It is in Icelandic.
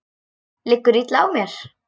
Liggur illa á mér?